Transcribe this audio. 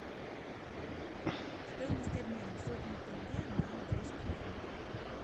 стоимость обмена сотню тенге на английские фунты